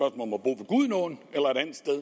gudenå om